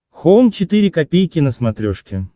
хоум четыре ка на смотрешке